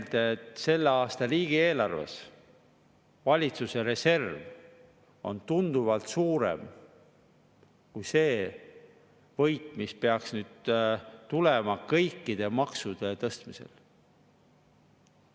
Ma tuletan meelde, et selle aasta riigieelarves on valitsuse reserv tunduvalt suurem kui see võit, mis peaks nüüd tulema kõikide maksude tõstmisel.